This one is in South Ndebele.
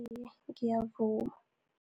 Iye, ngiyavuma.